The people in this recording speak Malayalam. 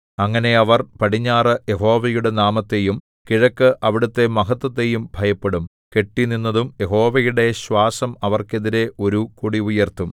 അങ്ങനെ അവർ പടിഞ്ഞാറ് യഹോവയുടെ നാമത്തെയും കിഴക്ക് അവിടുത്തെ മഹത്ത്വത്തെയും ഭയപ്പെടും കെട്ടിനിന്നതും യഹോവയുടെ ശ്വാസം അവര്‍ക്കെതിരെ ഒരു കൊടി ഉയര്‍ത്തും